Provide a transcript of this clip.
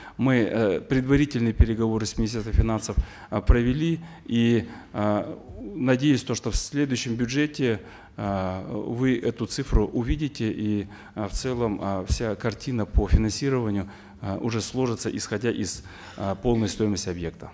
мы э предварительные переговоры с министерством финансов э провели и э надеюсь то что в следующем бюджете э вы эту цифру увидите и э в целом э вся картина по финансированию э уже сложится исходя из э полной стоимости объекта